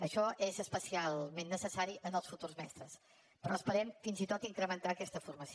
això és especialment necessari en els futurs mestres però esperem fins i tot incrementar aquesta formació